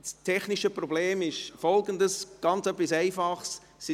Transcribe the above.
Das technische Problem ist etwas ganz Einfaches: